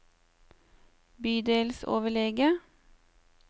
bydelsoverlege